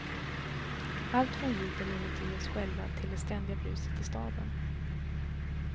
Allt från ljuden inuti oss själva till det ständiga bruset i staden.